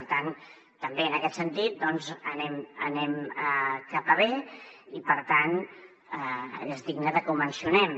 per tant també en aquest sentit doncs anem cap a bé i per tant és digne de que ho mencionem